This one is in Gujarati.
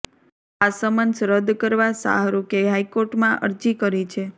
આ સમન્સ રદ કરવા શાહરૂખે હાઇકોર્ટમાં અરજી કરી છે